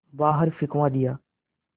बाहर फिंकवा दिया